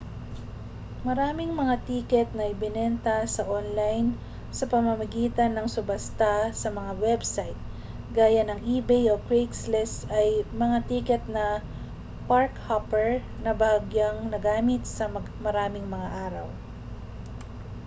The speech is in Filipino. maraming mga tiket na ibinenta sa online sa pamamagitan ng subasta sa mga website gaya ng ebay o craigslist ay mga tiket na park-hopper na bahagyang nagamit sa maraming mga araw